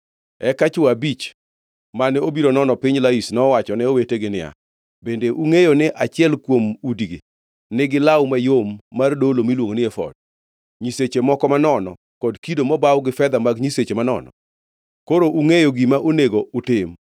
Eka chwo abich mane obiro nono piny Laish nowachone owetegi niya, “Bende ungʼeyo ni achiel kuom udigi nigi law mayom mar dolo miluongo ni efod, nyiseche moko manono, kod kido mobaw gi fedha mag nyiseche manono? Koro ungʼeyo gima onego utim.”